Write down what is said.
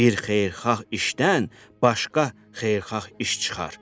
Bir xeyirxah işdən başqa xeyirxah iş çıxar.